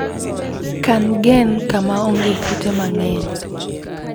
kan gen kama onge kute mang'eny.